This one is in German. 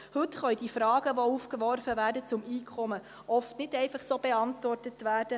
Heute können die Fragen, die zum Einkommen aufgeworfen werden, oft nicht einfach so beantwortet werden.